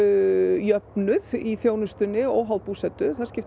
jöfnuð í þjónustunni óháð búsetu það skiptir